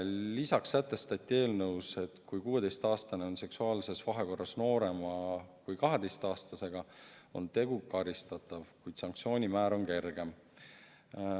Lisaks sätestati eelnõus, et kui 16-aastane on seksuaalses vahekorras noorema kui 12-aastasega, on tegu karistatav, kuid sanktsioon on kergem.